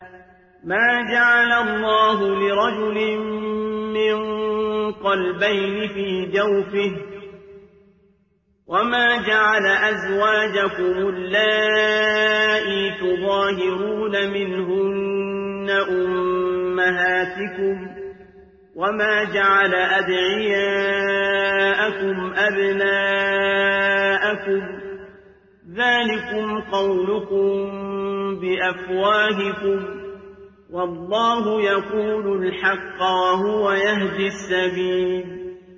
مَّا جَعَلَ اللَّهُ لِرَجُلٍ مِّن قَلْبَيْنِ فِي جَوْفِهِ ۚ وَمَا جَعَلَ أَزْوَاجَكُمُ اللَّائِي تُظَاهِرُونَ مِنْهُنَّ أُمَّهَاتِكُمْ ۚ وَمَا جَعَلَ أَدْعِيَاءَكُمْ أَبْنَاءَكُمْ ۚ ذَٰلِكُمْ قَوْلُكُم بِأَفْوَاهِكُمْ ۖ وَاللَّهُ يَقُولُ الْحَقَّ وَهُوَ يَهْدِي السَّبِيلَ